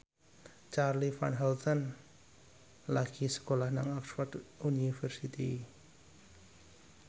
Charly Van Houten lagi sekolah nang Oxford university